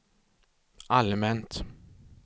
allmänt